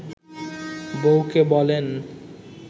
বউকে বলেন